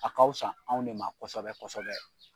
A ka wusa anw de ma kɔsɛbɛ-kɔsɛbɛ.